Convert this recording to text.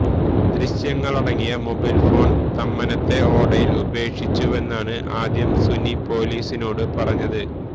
ദൃശ്യങ്ങളടങ്ങിയ mobile phone തമ്മനത്തെ ഓടയില് ഉപേക്ഷിച്ചുവെന്നാണ് ആദ്യം സുനി പോലീസിനോട് പറഞ്ഞത്